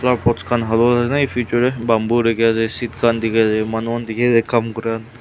aru post khan efu bethor te bamboo dekhi ase seat khan dekhi ase manu khan dekhi ase kam kora--